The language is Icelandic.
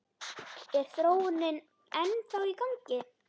Er þróunin ennþá í gangi?